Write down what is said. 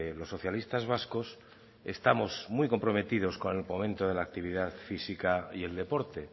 los socialistas vascos estamos muy comprometidos con el fomento de la actividad física y el deporte